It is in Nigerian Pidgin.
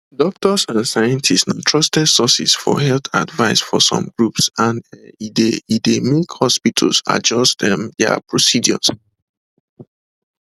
doctors and scientists na trusted sources for health advice for some groups and um e dey e dey make hospitals adjust um dia procedures